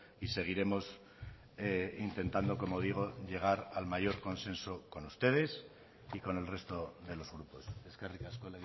y seguiremos intentando como digo llegar al mayor consenso con ustedes y con el resto de los grupos eskerrik asko